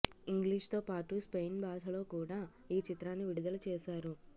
ఇంగ్లీష్తో పాటు స్పెయిన్ భాషలో కూడా ఈ చిత్రాన్ని విడుదల చేశారు